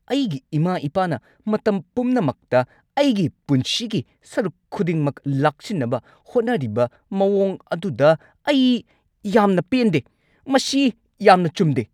ꯑꯩꯒꯤ ꯏꯃꯥ-ꯏꯄꯥꯅ ꯃꯇꯝ ꯄꯨꯝꯅꯃꯛꯇ ꯑꯩꯒꯤ ꯄꯨꯟꯁꯤꯒꯤ ꯁꯔꯨꯛ ꯈꯨꯗꯤꯡꯃꯛ ꯂꯥꯛꯁꯤꯟꯅꯕ ꯍꯣꯠꯅꯔꯤꯕ ꯃꯑꯣꯡ ꯑꯗꯨꯗ ꯑꯩ ꯌꯥꯝꯅ ꯄꯦꯟꯗꯦ꯫ ꯃꯁꯤ ꯌꯥꯝꯅ ꯆꯨꯝꯗꯦ꯫